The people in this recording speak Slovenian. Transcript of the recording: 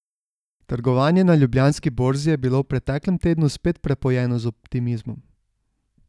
Trgovanje na Ljubljanski borzi je bilo v preteklem tednu spet prepojeno z optimizmom.